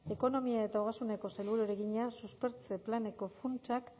ekonomia eta ogasuneko sailburuari egina suspertze planeko funtsak